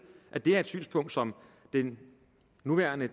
at det her er et synspunkt som den nuværende